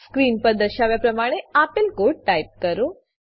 screen પર દર્શાવ્યા પ્રમાણે આપેલ કોડ ટાઈપ કરો